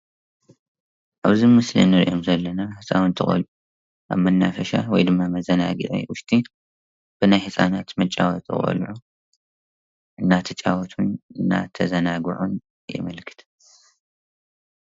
ኣብዚ ምስሊ እንሪኦም ዘለና ህፃውንቲ ቆሉዑ ኣብ መናፈሻ /መዘናጊዒ/ ውሽጢ ብናይ ህፃናት መጫወቲ ቆልዑ እንዳተጫወቱን እንዳተዘናጉዑን የመልክት።